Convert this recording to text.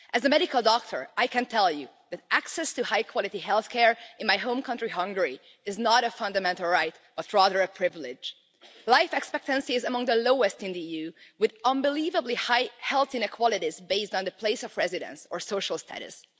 As a medical doctor, I can tell you that access to high quality healthcare in my home country, Hungary, is not a fundamental right but rather a privilege. Life expectancy is among the lowest in the EU, with unbelievably high health inequalities based on the place of residence or social status.